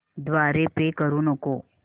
द्वारे पे करू नको